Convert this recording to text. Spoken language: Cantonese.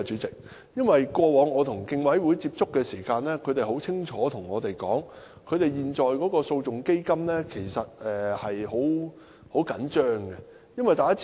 過往我與競委會接觸時，他們很清楚地表示，現時訴訟基金緊絀。